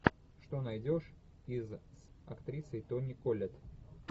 что найдешь из с актрисой тони коллетт